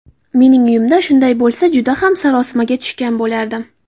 Mening uyimda shunday bo‘lsa, juda ham sarosimaga tushgan bo‘lardim.